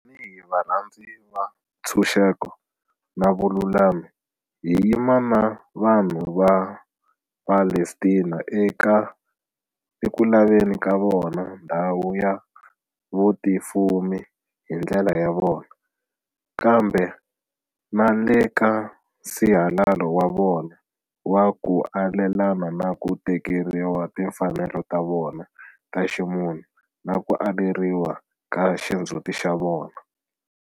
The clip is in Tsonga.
Tanihi varhandzi va ntshunxeko na vululami, hi yima na vanhu va Palestina eku laveni ka vona ndhawu ya vutifumi hi ndlela ya vona, kambe na le ka nsihalalo wa vona wa ku alelana na ku tekeriwa timfanelo ta vona ta ximunhu na ku aleriwa ka xindzhuti xa vona.